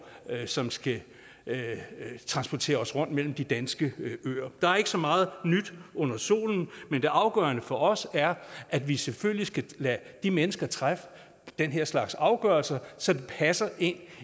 som skal transportere os rundt mellem de danske øer der er ikke så meget nyt under solen det afgørende for os er at vi selvfølgelig skal lade de mennesker træffe den her slags afgørelser så det passer ind